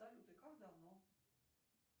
салют и как давно